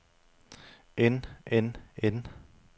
end end end